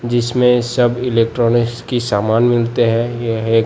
जिसमें सब इलेक्ट्रॉनिक्स की सामान मिलते हैं ये है--